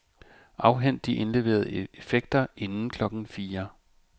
Afhent de indleverede effekter inden klokken fire.